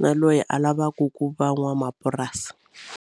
na loyi a lavaku ku va n'wamapurasi.